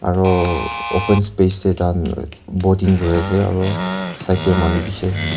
aro open space teh tai khan bording kuri se aro side te manu bishi ase.